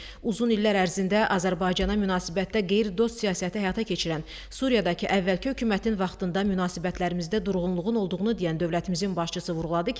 Uzun illər ərzində Azərbaycana münasibətdə qeyri-dost siyasəti həyata keçirən Suriyadakı əvvəlki hökumətin vaxtında münasibətlərimizdə durğunluğun olduğunu deyən dövlətimizin başçısı vurğuladı ki,